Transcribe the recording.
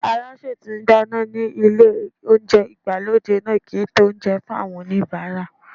Alásè tí ń dáná nílé oúnjẹ ìgbàlódé náà kì í ta oúnjẹ fún àwọn oníbàárà.